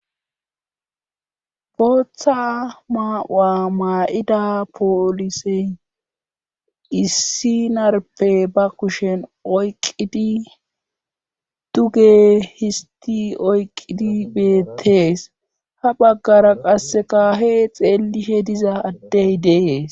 booththa maa7u7a maa7ida poolisey issi narpe ba kushen oyqidi duge histi oyqqidi beettees ha baggara qassekahe xeellishe diza addey dees